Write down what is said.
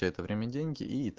это время деньги